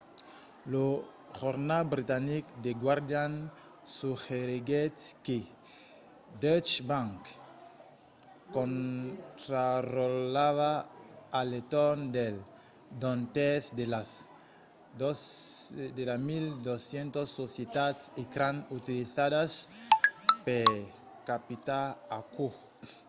lo jornal britanic the guardian suggeriguèt que deutsche bank contrarotlava a l'entorn d'un tèrç de las 1200 societats ecran utilizadas per capitar aquò